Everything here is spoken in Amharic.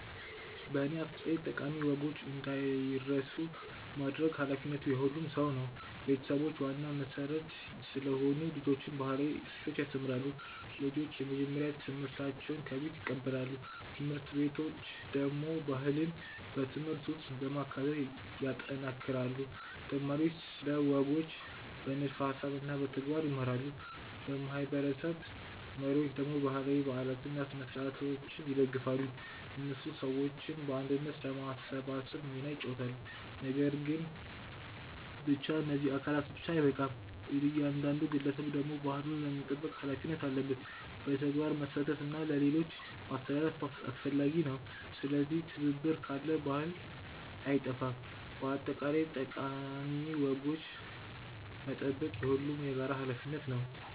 በእኔ አስተያየት ጠቃሚ ወጎች እንዳይረሱ ማድረግ ኃላፊነቱ የሁሉም ሰው ነው። ቤተሰቦች ዋና መሠረት ስለሆኑ ልጆችን ባህላዊ እሴቶች ያስተምራሉ። ልጆች የመጀመሪያ ትምህርታቸውን ከቤት ይቀበላሉ። ት/ቤቶች ደግሞ ባህልን በትምህርት ውስጥ በማካተት ያጠናክራሉ። ተማሪዎች ስለ ወጎች በንድፈ ሀሳብ እና በተግባር ይማራሉ። የማህበረሰብ መሪዎች ደግሞ ባህላዊ በዓላትን እና ስነ-ሥርዓቶችን ይደግፋሉ። እነሱ ሰዎችን በአንድነት ለማሰባሰብ ሚና ይጫወታሉ። ነገር ግን ብቻ እነዚህ አካላት ብቻ አይበቃም። እያንዳንዱ ግለሰብ ደግሞ ባህሉን ለመጠበቅ ሀላፊነት አለበት። በተግባር መሳተፍ እና ለሌሎች ማስተላለፍ አስፈላጊ ነው። ስለዚህ ትብብር ካለ ባህል አይጠፋም። በአጠቃላይ ጠቃሚ ወጎችን መጠበቅ የሁሉም የጋራ ሀላፊነት ነው።